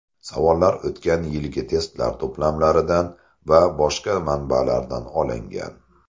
Savollar o‘tgan yilgi testlar to‘plamlaridan va boshqa manbalardan olingan.